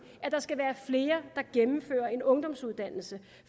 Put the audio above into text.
at der skal være flere der gennemfører en ungdomsuddannelse